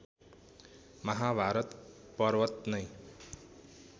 महाभारत पर्वत नै